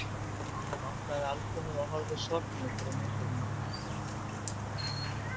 Hann opnaði albúmið og horfði sorgmæddur á myndirnar.